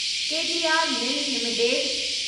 के P R mill limited